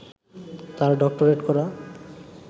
তার ডক্টরেট করা